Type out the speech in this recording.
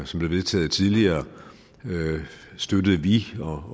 som blev vedtaget tidligere støttede vi